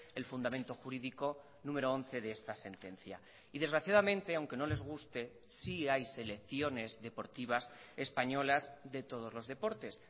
el fundamento jurídico número once de esta sentencia y desgraciadamente aunque no les guste sí hay selecciones deportivas españolas de todos los deportes